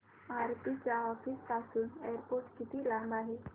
आरती च्या ऑफिस पासून एअरपोर्ट किती लांब आहे